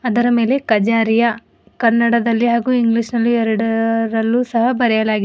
ಇದರ ಮೇಲೆ ಖಜಾರಿಯ ಕನ್ನಡದಲ್ಲಿ ಹಾಗೂ ಇಂಗ್ಲಿಷ್ ನಲ್ಲಿ ಎರಡರಲ್ಲೂ ಸಹ ಬರೆಯಲಾಗಿದೆ.